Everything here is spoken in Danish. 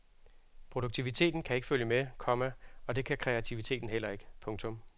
Produktiviteten kan ikke følge med, komma og det kan kreativiteten heller ikke. punktum